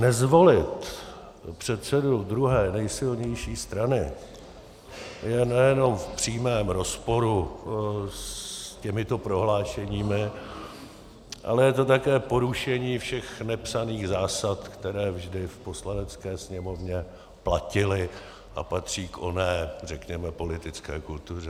Nezvolit předsedu druhé nejsilnější strany je nejenom v přímém rozporu s těmito prohlášeními, ale je to také porušení všech nepsaných zásad, které vždy v Poslanecké sněmovně platily a patří k oné řekněme politické kultuře.